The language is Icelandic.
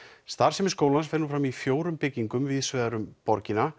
starfsemi skólans fer nú fram í fjórum byggingum víðsvegar um borgina